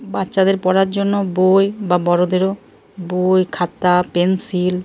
বাচ্চাদের পড়ার জন্য বই বা বড়দেরও বই খাতা পেন্সিল --